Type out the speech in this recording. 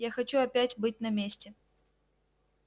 я хочу опять быть на месте